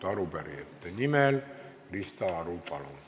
Arupärijate nimel Krista Aru, palun!